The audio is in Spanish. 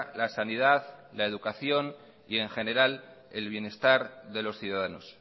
la sanidad la educación y en general el bienestar de los ciudadanos